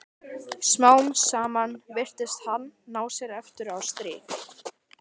Smám saman virtist hann ná sér aftur á strik.